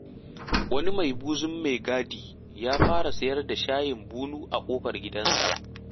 Wani mai buzun mai gadi ya fara sayar da shayin bunu a ƙofar gida.